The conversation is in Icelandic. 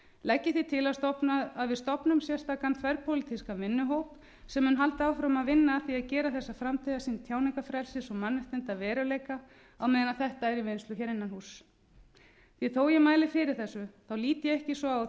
legg ég því til að við stofnum sérstakan þverpólitískan vinnuhóp sem mun halda áfram að vinna að því að gera þessa framtíðarsýn tjáningarfrelsis og mannréttinda að veruleika á meðan þetta er í vinnslu hér innan húss því að þó að ég mæli fyrir þessu lít ég ekki svo